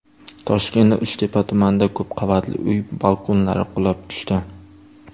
Toshkentning Uchtepa tumanida ko‘p qavatli uy balkonlari qulab tushdi.